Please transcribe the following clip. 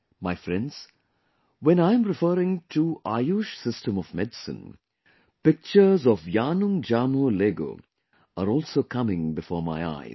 My friends, when I am referring to AYUSH system of medicine, pictures of Yanung Jamoh Lego are also coming before my eyes